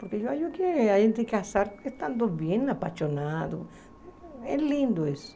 Porque eu acho que a gente casar, estando bem apaixonado, é lindo isso.